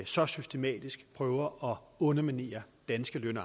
så systematisk prøver at underminere danske løn